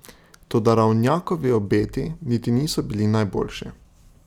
Toda Ravnjakovi obeti niti niso bili najboljši.